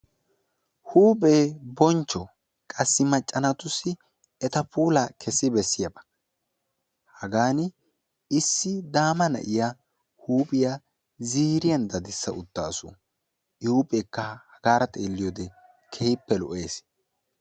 huuphe boncho qasi maccha naatussi eta puulla kessi bessiyaba. hagaani issi daama na'iya huuphiya ziiriyan dadissa utaasu. i huupheeekka hagara xeeliyode keehippe lo'ees,.